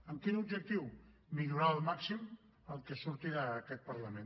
amb quin objectiu millorar al màxim el que surti d’aquest parlament